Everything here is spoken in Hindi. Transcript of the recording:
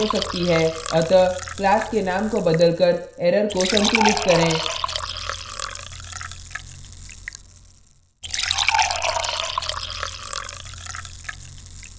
अतः class के name को बदलकर error को संतुलित करें